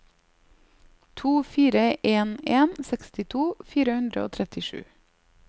to fire en en sekstito fire hundre og trettisju